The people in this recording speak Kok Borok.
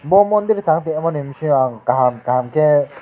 mo mondir tangmo de hinmsiya ang kaham kaham ke.